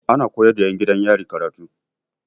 Ana koyar da 'yan gidan yari karatu.